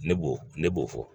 Ne b'o ne b'o fɔ